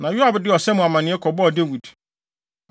Na Yoab de ɔsa mu amanneɛ kɔbɔɔ Dawid.